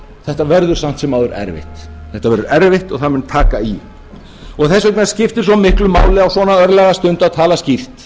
þetta verður samt sem áður erfitt þetta verður erfitt og það mun taka í þess vegna skiptir svo miklu máli á svona örlagastundu að tala skýrt